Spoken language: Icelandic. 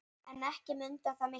En ekki munaði það miklu.